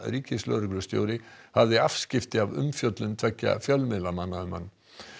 ríkislögreglustjóri hafði afskipti af umfjöllun tveggja fjölmiðlamanna um hann